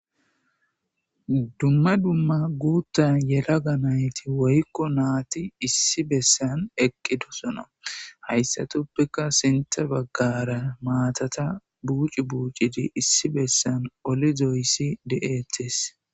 Dumma dumma bootha yelaga nayti woykon nati issi besan eqidosona, haydatuppeka sinthe bagara maatata buuxi buucid issi besan olidoys de'etes